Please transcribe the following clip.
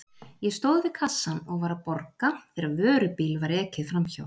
Ég stóð við kassann og var að borga þegar vörubíl var ekið framhjá.